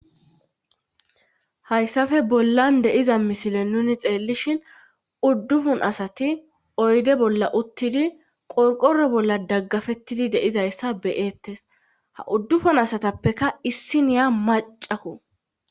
Hayssafe bollan deiza misile nuni xeellishin uddufun asati oyde bolla uttidi qorqoro bolla daggafettidi deizayssa beyeettes ha uddufun asatappeka issiniya macafo.